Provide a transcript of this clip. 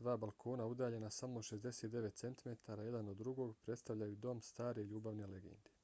dva balkona udaljena samo 69 centimetara jedan od drugog predstavljaju dom stare ljubavne legende